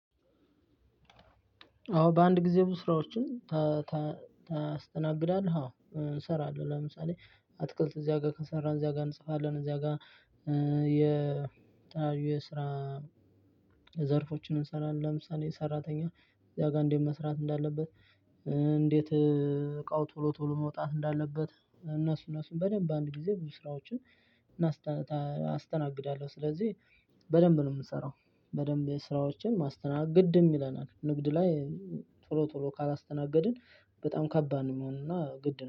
አዎ በአንድ ጊዜ ብዙ ስራዎችን ታስተናግዳለህ? አዎ እሰራለሁ። ለምሳሌ አትክልት እዚያጋ ከሰራን እዚያጋ እንጽፋለን እዚያጋ የተለያዩ የስራ ዘርፎችን እንሰራለን። ለምሳሌ ሰራተኛ እዚያ ጋር እንዴት መስራት እንዳለበት። እንዴት እቃው ቶሎ ቶሎ መውጣት እንዳለበት እነሱ እነሱን በደንብ በአንድ ጊዜ ብዙ ስራዎችን አስተናግዳለሁ። ስለዚህ በደንብ ነው ምሰራው በደንብ ስራዎችን ማስተግድም ይለናል። ንግድ ላይ ቶሎ ቶሎ ካላስተናገድን በጣም ከባድ ነው የሚሆነው። እና ግድ ነው